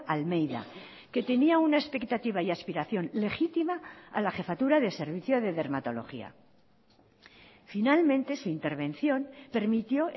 almeida que tenía una expectativa y aspiración legítima a la jefatura de servicio de dermatología finalmente su intervención permitió